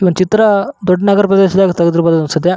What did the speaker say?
ಒಂದ್ ಚಿತ್ರ ದೊಡ್ಡ ನಗರ ಪ್ರದೇಶದಲ್ಲಿ ತೆಗ್ದಿರ ಬಹುದು ಅನ್ಸುತ್ತೆ.